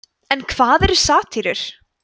en hvað eru satírur